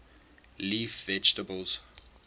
leaf vegetables